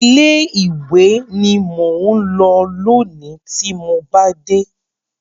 Ilé ìwé ni mò ń lọ lónìí tí mo bá dé.